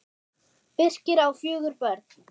Birkir á fjögur börn.